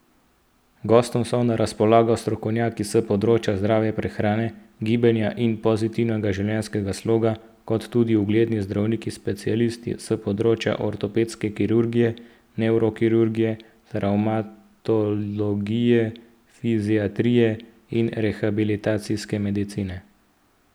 Gostom so na razpolago strokovnjaki s področja zdrave prehrane, gibanja in pozitivnega življenjskega sloga, kot tudi ugledni zdravniki specialisti s področja ortopedske kirurgije, nevrokirurgije, travmatologije, fiziatrije in rehabilitacijske medicine.